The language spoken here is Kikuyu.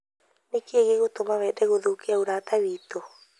Nĩ kĩĩ gĩgũtũma wende gũthũkia ũrata witũ?